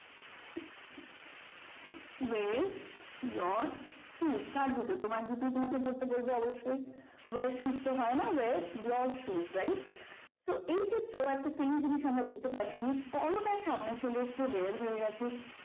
were your shoes কার জুতো তোমার জুতোই তোমাকে পড়তে বলবেই অবশ্যই were shoes তো হয় না were your shoes right তো এই ক্ষেত্রে একটা same জিনিস আমরা দেখতে পাচ্ছি যে বড়টা সামনে চলে এসেছে were হয়ে গেছে